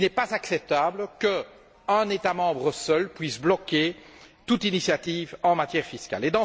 Il n'est pas acceptable qu'un État membre, à lui seul, puisse bloquer toute initiative en matière fiscale.